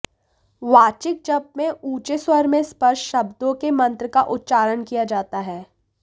वाचिक जप में ऊंचे स्वर में स्पष्ट शब्दों में मंत्र का उच्चारण किया जाता है